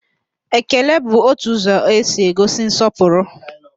Ekele bụ otu ụzọ e si egosi nsọpụrụ